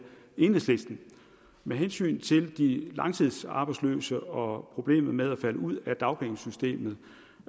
enhedslisten med hensyn til de langtidsarbejdsløse og problemet med at falde ud af dagpengesystemet